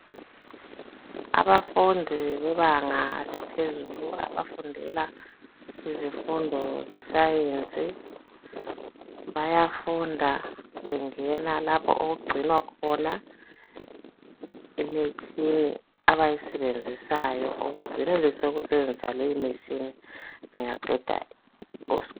Abafunda bebanga laphezulu abafundela izifundo zesayenzi bayafunda bengena lapho okugcinwa khona imitshini abayisebenzisayo ukuze benelise ukusebenzisa leyi mitshini bengaqeda isikolo.